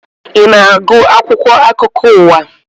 Ị na-agụ akwụkwọ akụkọ ụwa